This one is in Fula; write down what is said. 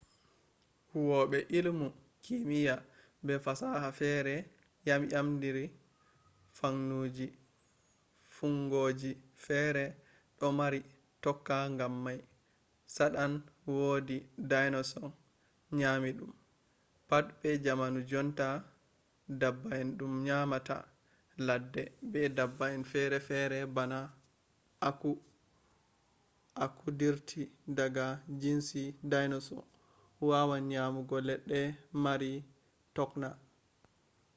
huwobe illimu kimiya be fasaha fere yamyamtindiri fuunngoji fere do mari tokna gam mai tsadan wodi dinosaur nyami dum pat be jamanu jonta dabba'en dum nyamata ledde be dabba'en ferefere bana aku aku dirti daga jinsi dinosaur wawan nyamugo ledde mari tokna